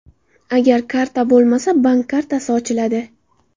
Agar karta bo‘lmasa, bank kartasi ochiladi.